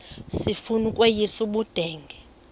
sifuna ukweyis ubudenge